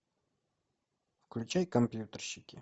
включай компьютерщики